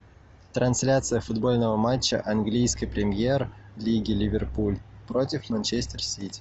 трансляция футбольного матча английской премьер лиги ливерпуль против манчестер сити